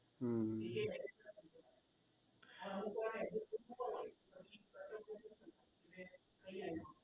એ જે address હોય તઇ નું એમ